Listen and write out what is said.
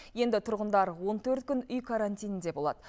енді тұрғындар он төрт күн үй карантинінде болады